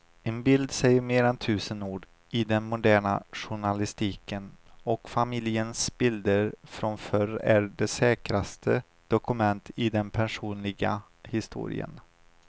En bild säger mer än tusen ord i den moderna journalistiken och familjens bilder från förr är det säkraste dokumentet i den personliga historien.